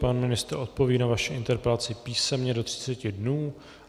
Pan ministr odpoví na vaši interpelaci písemně do 30 dnů.